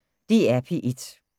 DR P1